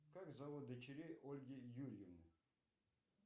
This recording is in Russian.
как зовут дочерей ольги юрьевны